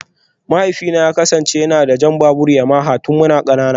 Mahaifina ya kasance yana da jan babur Yamaha tun muna kanana